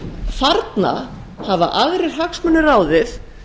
þarna hafa aðrir hagsmunir ráðið